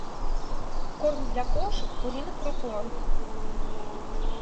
корм для кошек пурина про план